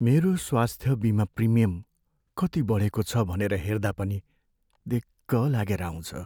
मेरो स्वास्थ्य बिमा प्रिमियम कति बढेको छ भनेर हेर्दा पनि दिक्क लागेर आउँछ।